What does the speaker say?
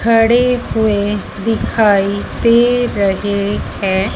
खड़े हुए दिखाई दे रहे है।